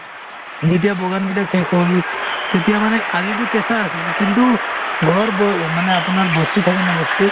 যেতিয়া বগান শেষ হ'ল তেতিয়া মানে আলিটো কেঁচা আছিল কিন্তু ঘৰব মানে আপোনাৰ বস্তি থাকে ন বস্তি